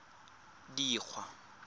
dikgwa